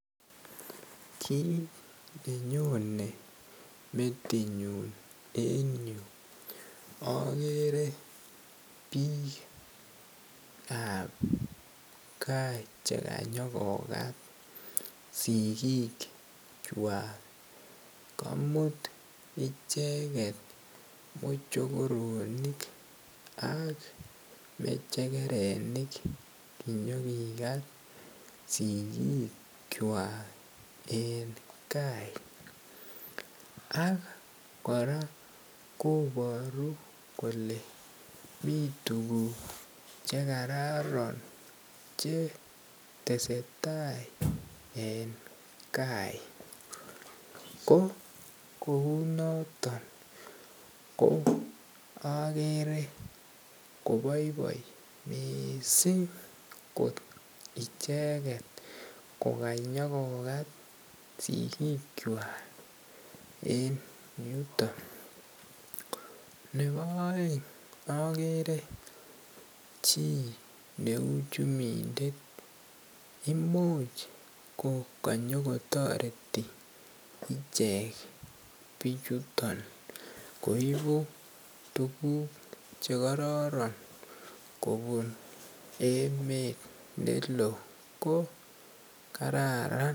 Kit nenyone metinyun en yu akere biikab gaa chekanyokokat sikikchwak, kamut icheket mochokronik ak mechekerenik kinyokikat sikikchwak en kai ak kora koboru kole mi tuguk chekororon chetese tai en kai ko kounoton ko akere koboiboi miissing kot icheket kokanyokat sikikchwak en yuton .Ne bo aeng akere chi neu chumindet imuch kokonyokotoreti ichek bichuton koibu tuguk chekorroron kobun emet ne loo ko kararan.